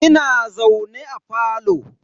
Ina zaune a falo.